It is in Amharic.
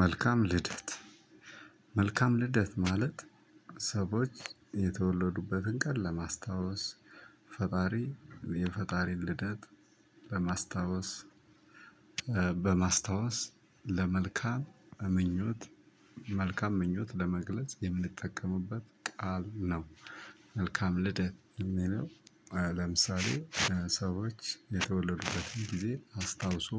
መልካም ልደት መልካም ልደት ማለት ሰዎች የተወለዱበትን ቀን ለማስታወስ ፈጣሪ የፈጣሪ ልደት በማስታወስ በማስታወስ ለመልካም ምኞት መልካም ምኞት ለመግለጽ የምንጠቀምበት ቃል ነው። መልካም ልደት የሚለው ለምሳሌ ስዎች የተወለዱበትን ጊዜ አስታውስ።